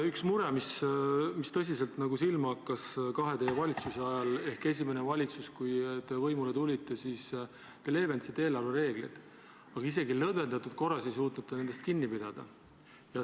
Üks mure, mis tõsiselt silma on hakanud teie kahe valitsuse ajal: esimeses valitsuses, pärast seda, kui te võimule tulite, te leevendasite eelarvereegleid, aga isegi lõdvendatud korras ei suutnud te nendest kinni pidada.